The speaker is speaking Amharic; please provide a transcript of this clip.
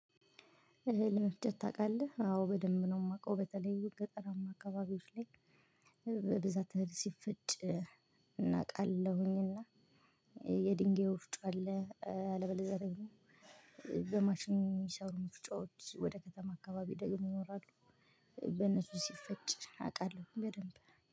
እህል መፍጨት ታውቃለህ? አዎ በደምብ ነው የማውቀው በተለይ ገጠራማ አካባቢዎች ላይ በብዛት አህል ሲፈጭ እና አቃለሁኝ እና የ ድንጋይ ወፍጮ አለ አለበለዚያ ደግሞ በማሽን የሚሰሩ መፍጫዎች ወደ ከተማ አካባቢ ደግሞ ይኖራሉ በነሱ ሲፈጭ አውቃለሁ በደንብ